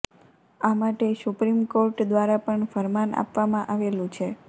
આ માટે supreme court દ્વારા પણ ફરમાન આપવામાં આવેલું છે